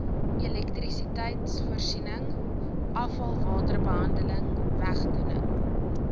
elektrisiteitvoorsiening afvalwaterbehandeling wegdoening